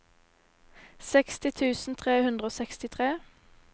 seksti tusen tre hundre og sekstitre